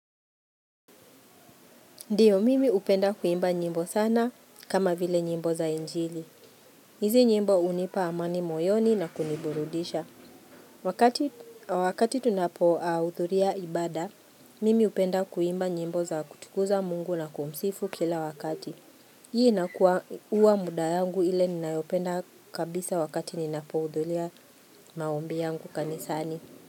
Ndiyo, mimi hupenda kuimba nyimbo sana kama vile nyimbo za injili. Izi nyimbo hunipa amani moyoni na kuniburudisha. Wakati tunapohudhuria ibaada, mimi hupenda kuimba nyimbo za kutukuza mungu na kumsifu kila wakati. Hii inakuwa muda yangu ile ninayopenda kabisa wakati ninapohudhuria maombi yangu kanisani.